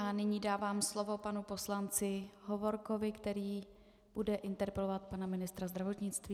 A nyní dávám slovo panu poslanci Hovorkovi, který bude interpelovat pana ministra zdravotnictví.